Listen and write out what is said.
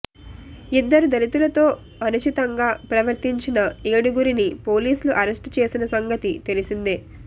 ఇద్దరు దళితులతో అనుచితంగా ప్రవర్తించిన ఏడుగురిని పోలీసులు అరెస్ట్ చేసిన సంగతి తెలిసిందే